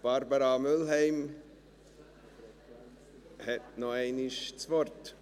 Barbara Mühlheim hat noch einmal das Wort.